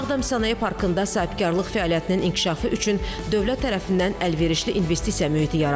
Ağdam sənaye parkında sahibkarlıq fəaliyyətinin inkişafı üçün dövlət tərəfindən əlverişli investisiya mühiti yaradılıb.